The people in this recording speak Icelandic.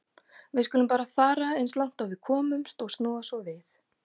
Við skulum bara fara eins langt og við komumst og snúa svo við.